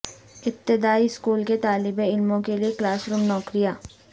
ابتدائی اسکول کے طالب علموں کے لئے کلاس روم نوکریاں